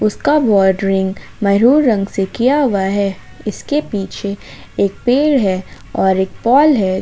उसका बाउंडेरिंग मैरून रंग से किया हुआ है इसके पीछे एक पेड़ है और एक पोल है।